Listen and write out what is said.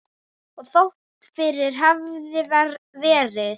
Og þótt fyrr hefði verið.